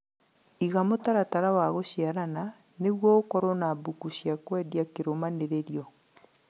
Iga mũtaratara wa gũshiarana nĩguo ũkorwo na mbũkũ cia kwendia kĩrũmanĩrĩrio